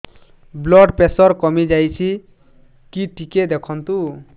blood pressure କମି ଯାଉଛି କି ଟିକେ ଦେଖନ୍ତୁ